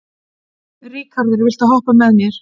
Ríkharður, viltu hoppa með mér?